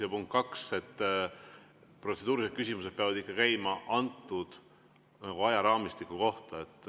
Ja punkt kaks: protseduurilised küsimused peavad käima ajaraamistiku kohta.